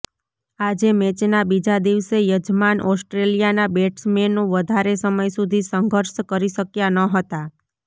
આજે મેચના બીજા દિવસે યજમાન ઓસ્ટ્રેલિયાના બેટ્સમેનો વધારે સમય સુધી સંઘર્ષ કરી શક્યા ન હતા